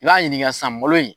I y'a ɲininka san malo in